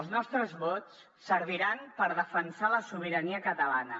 els nostres vots serviran per defensar la sobirania catalana